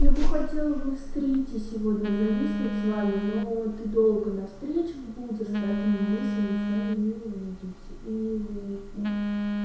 я бы хотела бы в стрите сегодня зависнуть с вами но ты долго на встречах будешь поэтому мы сегодня с вами не увидимся и не выпьем